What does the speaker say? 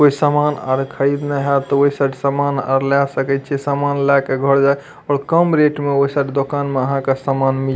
कोय सामान आर खरीदना है तो ओय साइड सामान आर ले सकय छीये समान लेके घर जाय और कम रेट मे ओय साइड दोकान में आहां के सामान मिल --